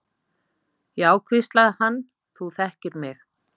Já, hvíslaði hann, þú þekkir mig.